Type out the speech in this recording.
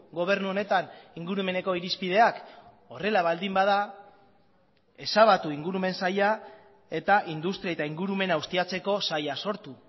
gobernu honetan ingurumeneko irizpideak horrela baldin bada ezabatu ingurumen saila eta industria eta ingurumena ustiatzeko saila sortu